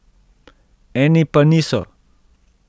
Eni pa niso.